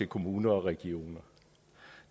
kommuner og regioner